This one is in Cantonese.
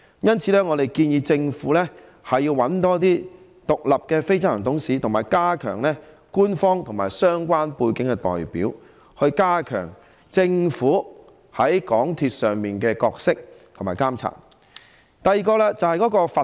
因此，我們建議政府委任多一些獨立非執行董事，以及加強官方和有相關背景的代表，以加強政府在港鐵內的角色和發揮監察作用。